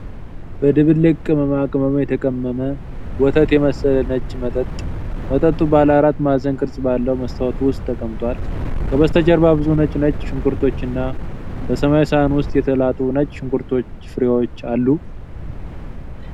በድብልቅ ቅመማ ቅመም የተቀመመ ወተት የመሰለ ነጭ መጠጥ ። መጠጡ ባለ አራት ማዕዘን ቅርጽ ባለው መስታወት ውስጥ ተቀምጧል። ከበስተጀርባ ብዙ ነጭ ነጭ ሽንኩርቶችና በሰማያዊ ሳህን ውስጥ የተላጡ ነጭ ሽንኩርት ፍሬዎች አሉ።